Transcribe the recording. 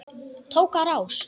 Tók á rás.